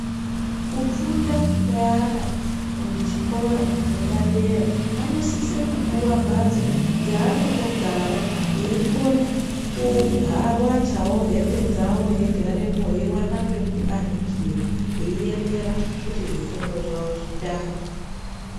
Kufunda kweana kuchikora chepadera vanosise kupuwe mbatso dzeanotogara eikone kuwachawo hembe dzawo eigarepo eiwana pekuyanikira eiemera kuti zvifundo zvawo zvitange.